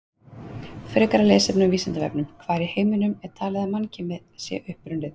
Frekara lesefni á Vísindavefnum: Hvar í heiminum er talið að mannkynið sé upprunnið?